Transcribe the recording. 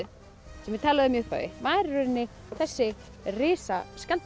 sem ég talaði um í upphafi var í rauninni þessi